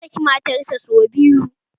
Ya saki matar sa sau biyu